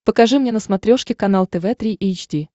покажи мне на смотрешке канал тв три эйч ди